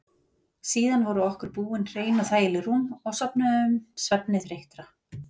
Síðan voru okkur búin hrein og þægileg rúm og sofnuðum svefni þreyttra.